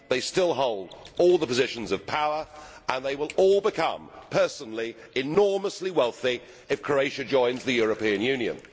They still hold all the positions of power and they will all become personally enormously wealthy if Croatia joins the European Union.